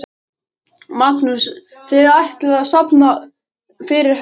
Magnús: Þið ætlið að safna fyrir hesti?